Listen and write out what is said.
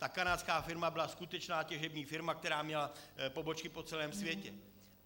Ta kanárská firma byla skutečná těžební firma, která měla pobočky po celém světě.